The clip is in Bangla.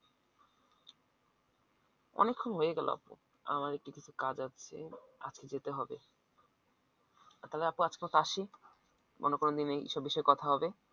অনেকক্ষণ হয়ে গেল আপু আমার একটু কিছু কাজ আছে আজকে যেতে হবে তাহলে আপু আজকের মত আসি অন্য কোনদিন এইসব বিষয়ে কথা হবে